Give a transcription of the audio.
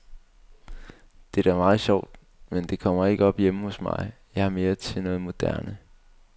Det er da meget sjovt, men det kommer ikke op hjemme hos mig, jeg er mere til noget moderne.